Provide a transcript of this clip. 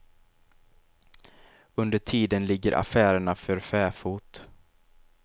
Under tiden ligger affärerna för fäfot.